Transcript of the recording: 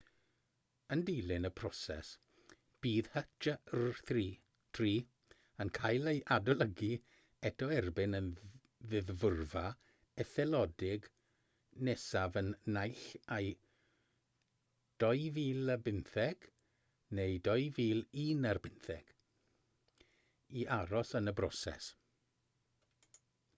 yn dilyn y broses bydd hjr-3 yn cael ei adolygu eto erbyn y ddeddfwrfa etholedig nesaf yn naill ai 2015 neu 2016 i aros yn y broses